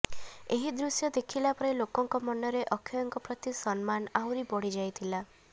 ଏହି ଦୃଶ୍ୟ ଦେଖିଲା ପରେ ଲୋକଙ୍କ ମନରେ ଅକ୍ଷୟଙ୍କ ପ୍ରତି ସମ୍ମାନ ଆହୁରି ବଢି ଯାଇଥିଲା